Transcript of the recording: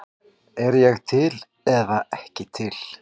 Er ég til eða ekki til?